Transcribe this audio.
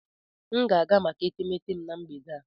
M ga-aga maka etemeete m na mgbede a.